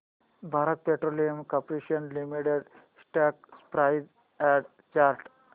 Bharat petroleum corporation limited stock price and chart